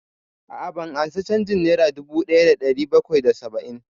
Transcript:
A'a, ban ansa canjin nera dubu ɗaya da ɗari bakwai da saba'in